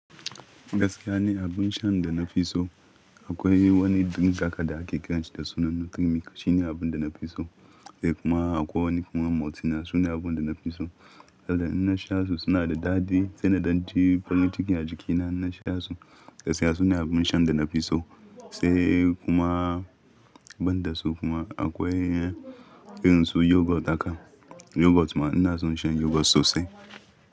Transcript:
Gaskiya ni abin shan da na fi so. Akwai wani drink haka da ake kiransa da sunan Nutrimilk shine abin da na fi so. Da kuma akwai wani kuma Maltina sune abin da na fi so. Saboda idan na sha su suna da daɗi sai na dan ji farin cikin a jikina idan na sha su. Gaskiya su ne abin shan da na fi so sai kuma ban da su kuma akwai irin su yoghurt haka. Yoghurt ma ina son shan yoghurt sossai.